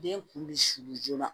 Den kun bɛ sulu joona